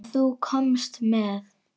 Sem þú komst með.